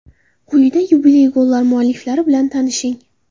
Quyida yubiley gollar mualliflari bilan tanishing.